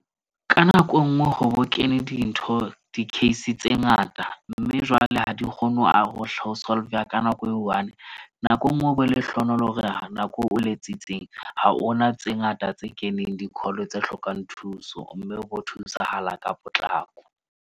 Ka nako enngwe hore o kene dintho di-case tse ngata. Mme jwale ha di kgone ho a hohle ho solveya ka nako e one. Nako enngwe o be lehlohonolo hore nako o letsitseng, ha hona tse ngata tse keneng di-call, tse hlokang thuso. Mme o bo thusahala ka potlako.